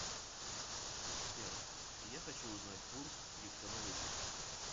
сбер я хочу узнать курс криптовалюты